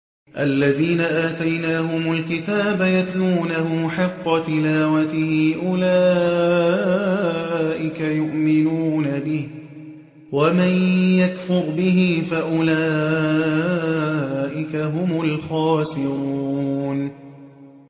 الَّذِينَ آتَيْنَاهُمُ الْكِتَابَ يَتْلُونَهُ حَقَّ تِلَاوَتِهِ أُولَٰئِكَ يُؤْمِنُونَ بِهِ ۗ وَمَن يَكْفُرْ بِهِ فَأُولَٰئِكَ هُمُ الْخَاسِرُونَ